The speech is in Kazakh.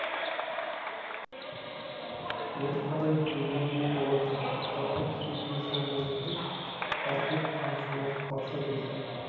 бері қарай өрлеу болатын тоқтарға керегі де сол болу керек ал кеп қамшыны басты дейсің